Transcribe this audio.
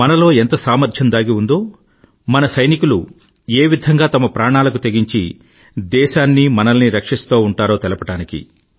మనలో ఎంత సామర్ధ్యం దాగి ఉందో మన సైనికులు ఏ విధంగా తమ ప్రాణాలకు తెగించి దేశాన్నీమనల్ని రక్షిస్తూ ఉంటారో తెలపడానికి